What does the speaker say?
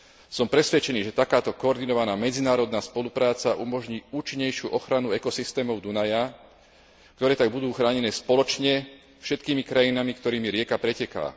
Som presvedčený, že takáto koordinovaná medzinárodná spolupráca umožní účinnejšiu ochranu ekosystémov Dunaja, ktoré tak budú chránené spoločne všetkými krajinami, ktorými rieka preteká.